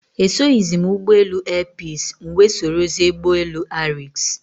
Esoghizi m ụgbọelu airpeace, m wee sorozie ụgbọelu ariks